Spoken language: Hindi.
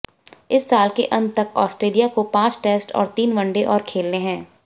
इस साल के अंत तक ऑस्ट्रेलिया को पांच टेस्ट और तीन वनडे और खेलने है